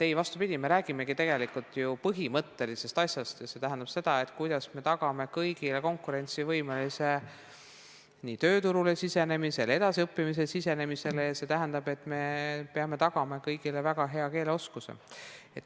Ei, vastupidi, me räägimegi tegelikult ju põhimõttelisest asjast ja see tähendab seda, kuidas me tagame kõigile konkurentsivõimelise nii tööturule sisenemise, edasiõppimisele sisenemise ja see tähendab, et me peame tagama kõigile väga hea keeleoskuse.